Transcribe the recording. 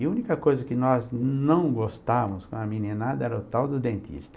E a única coisa que nós não gostávamos com a meninada era o tal do dentista.